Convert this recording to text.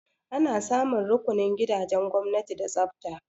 Ana samun rukunin gidajen gwamnati da tsafta.